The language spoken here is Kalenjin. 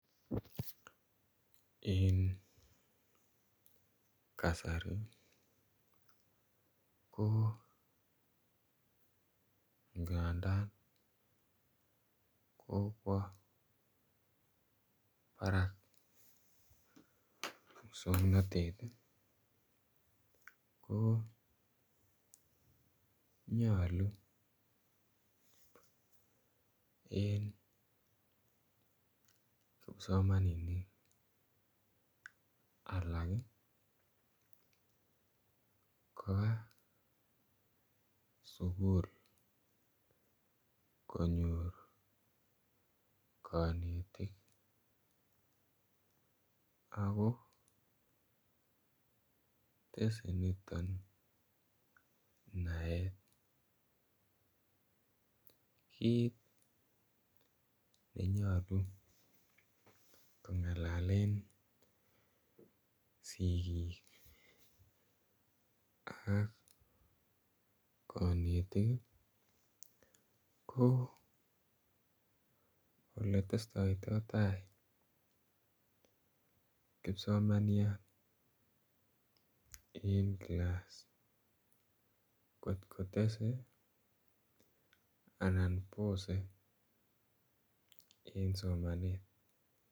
En kasari ko ngadan kokwo barak muswognotet ko nyoluu en kipsomaninik alak kobaa sukul konyor konetik ako tese niton naet. Kit nenyoluu kongalalen sigik ak konetik ii ko ole testoi toi tai kipsomaniat en class kot ko tese anan Bose en somanet